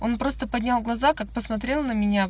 он просто поднял глаза как посмотрел на меня